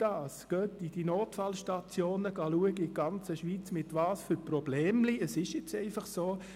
Schauen Sie in den Notfallstationen in der ganzen Schweiz, mit welchen Problemchen – Es ist nun einfach so!